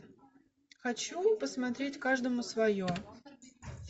хочу посмотреть каждому свое